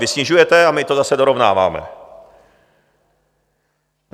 Vy snižujete a my to zase dorovnáváme.